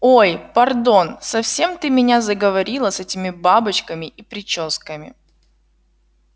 ой пардон совсем ты меня заговорила с этими бабочками и причёсками